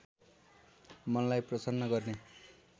मनलाई प्रसन्न गर्ने